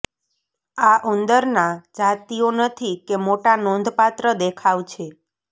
આ ઉંદરના જાતિઓ નથી કે મોટા નોંધપાત્ર દેખાવ છે